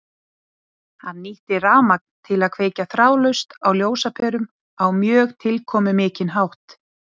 Hann nýtti rafmagn til að kveikja þráðlaust á ljósaperum á mjög tilkomumikinn hátt.